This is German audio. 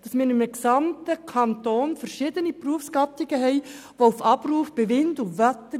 Wir haben im ganzen Kanton verschiedene Berufsgattungen, welche auf Abruf arbeiten müssen.